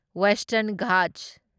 western Ghats